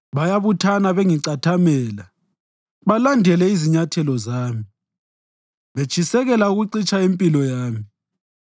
Bayabuthana bengicathamela balandele izinyathelo zami betshisekela ukucitsha impilo yami.